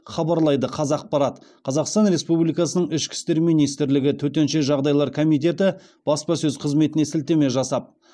хабарлайды қазақпарат қазақстан республикасының ішкі істер министрлігі төтенше жағдайлар комитеті баспасөз қызметіне сілтеме жасап